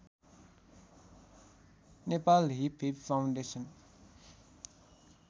Nepal hip hop foundation